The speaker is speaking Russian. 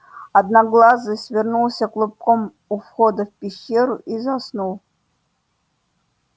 одноглазый свернулся клубком у входа в пещеру и заснул